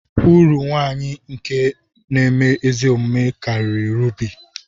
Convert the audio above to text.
Uru nwanyi nke nēme ezi omume kariri rubi.